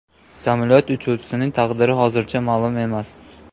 Samolyot uchuvchisining taqdiri hozircha ma’lum emas.